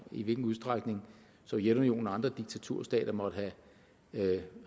i hvilken udstrækning sovjetunionen og andre diktaturstater måtte have